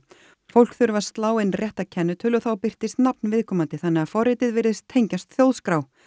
fólk þurfi að slá inn rétta kennitölu og þá birtist nafn viðkomandi þannig að forritið virðist tengjast Þjóðskrá